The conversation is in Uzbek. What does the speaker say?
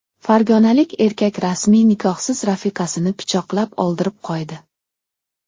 Farg‘onalik erkak rasmiy nikohsiz rafiqasini pichoqlab o‘ldirib qo‘ydi.